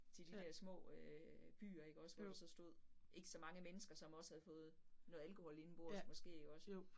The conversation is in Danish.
Til de der små øh byer ikke også, hvor der så stod ikke så mange mennesker, som også havde fået noget alkohol indenbords måske også